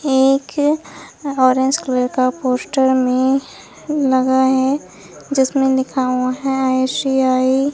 एक orange colour का poster में लगा है जिसमें लिखा हुआ है आई_सी_आई